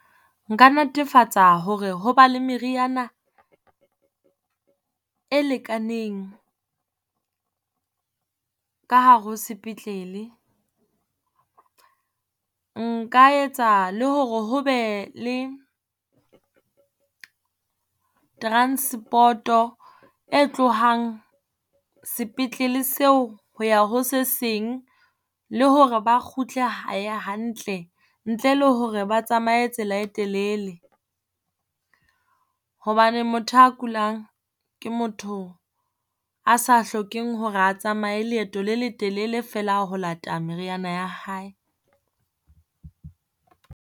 Nka netefatsa hore ho ba le meriana e lekaneng ka hare ho sepetlele. Nka etsa le hore ho be le transport-o e tlohang sepetlele seo, ho ya ho se seng le hore ba kgutle hae hantle ntle le hore ba tsamae tsela e telele. Hobane motho a kulang ke motho a sa hlokeng hore a tsamae leeto le letelele feela ho lata meriana ya hae.